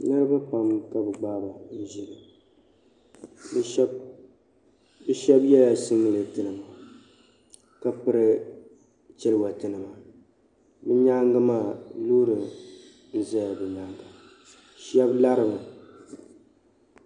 Niriba puuni ka bi gbaaba ʒili bi shab yela singlet nima ka piri chaliwater nima nyaaŋa maa loori zala bi nyaanga shebi lari mi